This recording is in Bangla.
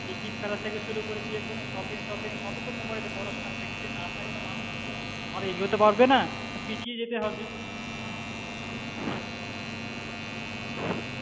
Cricket খেলা থেকে শুরু করে যে কোনো shopping টপিং সবই তো mobile এ পড়াশুনো যদি না থাকে তো মানুষেরা তো এগোতে পারবেনা পিছিয়ে যেতে হবে